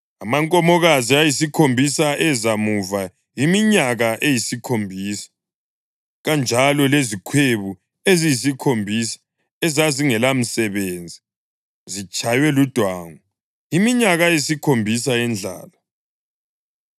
Amankomokazi ayisikhombisa eza muva yiminyaka eyisikhombisa, kanjalo lezikhwebu eziyisikhombisa ezazingelamsebenzi, zitshaywe ludwangu: Yiminyaka eyisikhombisa yendlala.